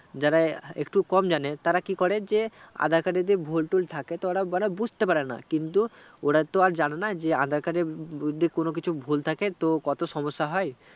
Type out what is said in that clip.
যারা একটু কম জানে তারা কি করে যে aadhar card এ যে ভুল টুল থাকে তো ওরাওরা বুজতে পারেনা কিন্তু ওরা তো আর জানে না যে aadhar card এ যদি কোনো কিছু ভুল থাকে তো কত সমস্যা হয়